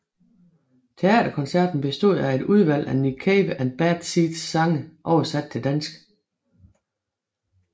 Teaterkoncerten bestod af et udvalg af Nick Cave and Bad Seeds sange oversat til dansk